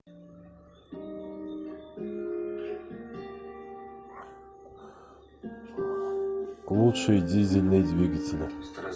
лучшие дизельные двигатели